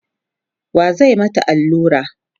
wa zai mata Alura?